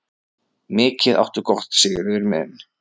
Mikið áttu gott, Sigurður minn.